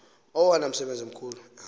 owona msebenzi mkhulu